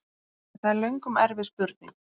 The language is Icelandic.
Það er löngum erfið spurning!